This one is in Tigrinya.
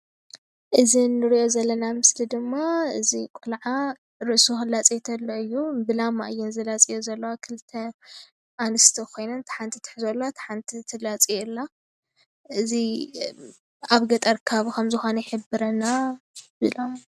እዚ ንሪኦ ዘለና ምስሊ ድማ እዚ ቆልዓ ርእሱ ክላፀይ ተሎ እዩ። ብላማ እዩ ዝላፀ ዘሎ ክልተ አንስትይ ኮይነን እታ ሓናቲ ትሕዞ አላ እታ ሓንቲ ትላፅዮ አላ። እዚ አብ ገጠር ከባቢ ከም ዝኮነ ይሕብርና፡፡